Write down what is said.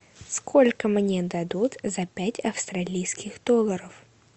сколько мне дадут за пять австралийских долларов